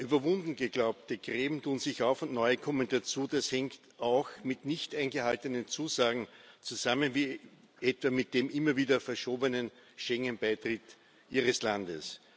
Überwunden geglaubte Gräben tun sich auf und neue kommen dazu. Das hängt auch mit nicht eingehaltenen Zusagen zusammen, wie etwa mit dem immer wieder verschobenen Schengen Beitritt Ihres Landes.